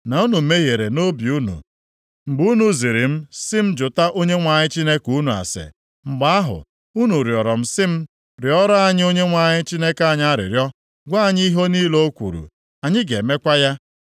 na unu mehiere nʼobi unu mgbe unu ziri m sị m jụta Onyenwe anyị Chineke unu ase. Mgbe ahụ, unu rịọrọ m sị m, ‘Rịọrọ anyị Onyenwe anyị Chineke anyị arịrịọ, gwa anyị ihe niile o kwuru, anyị ga-emekwa ya.’